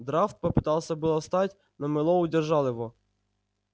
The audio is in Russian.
драфт попытался было встать но мэллоу удержал его